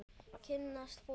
Kynnast fólki.